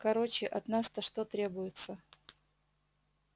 короче от нас-то что требуется